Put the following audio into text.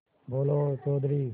बोलो चौधरी